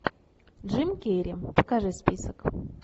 джим керри покажи список